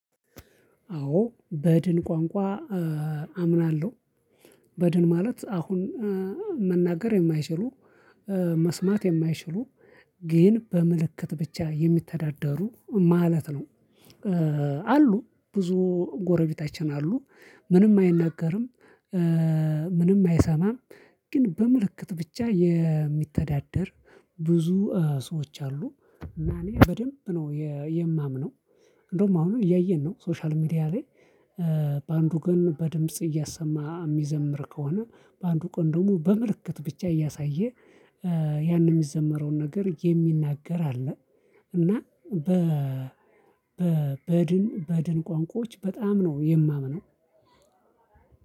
አዎ በድን ቋንቋ አምናለሁ በድን ማለት አሁን መናገር የማይችሉ መስማት የማይችሉ ግን በምልክት ብቻ የሚተዳደሩ ማለት ነው። አሉ ብዙ ጎረቤታችን አሉ ምንም አይናገርም። ምንም አይሰማም። ግን በምልክት ብቻ የሚተዳደር ብዙ ሰዎች አሉ። እና እኔ በደንብ ነው የማምነው። እንደውም አሁን እያየን ነው ሶሻል ሚዲያ ላይ። በአንዱ ቀን በድምጽ እያሰማ የሚዘምር ከሆነ በአንዱ ቀን ደግሞ በምልክት ብቻ እያሳየ ያንን የሚዘመረውን ነገር የሚናገር አለ። እና በ በድን በድን ቋንቋዎች በጣም ነው የማምነው።